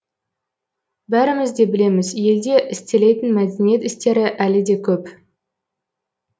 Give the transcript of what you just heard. бәріміз де білеміз елде істелетін мәдениет істері әлі де көп